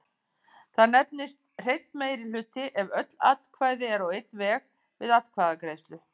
Það nefnist hreinn meirihluti ef öll atkvæði eru á einn veg við atkvæðagreiðslu.